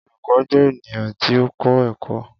Olukọ jẹ eniyan ti o kọ ẹkọ